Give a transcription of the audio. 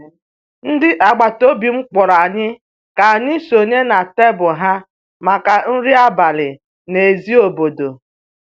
ndị agbata obi m kpọrọ anyị ka anyị sonye na tebụl ha maka nri abalị n'èzí obodo